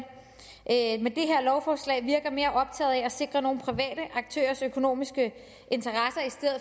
at lovforslag virker mere optaget af at sikre nogle private aktørers økonomiske interesser